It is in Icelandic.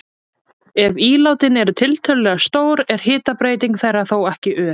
Ef ílátin eru tiltölulega stór er hitabreyting þeirra þó ekki ör.